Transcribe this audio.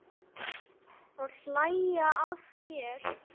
Og hlæja að þér.